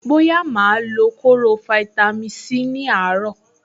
Bóyá màá lo kóró fáítámì Sí ní àárọ̀.